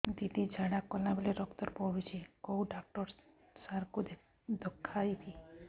ଦିଦି ଝାଡ଼ା କଲା ବେଳେ ରକ୍ତ ପଡୁଛି କଉଁ ଡକ୍ଟର ସାର କୁ ଦଖାଇବି